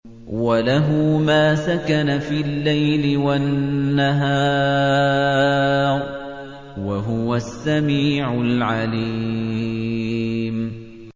۞ وَلَهُ مَا سَكَنَ فِي اللَّيْلِ وَالنَّهَارِ ۚ وَهُوَ السَّمِيعُ الْعَلِيمُ